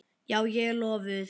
Já, ég er lofuð.